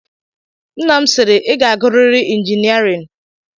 Nna m sịịrị, ị ga-agụrịịrị injiniarin.